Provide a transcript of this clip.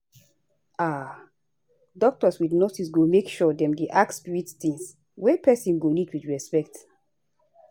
aah doctors with nurses go make sure dem dey ask spirit tings wey pesin go need with respect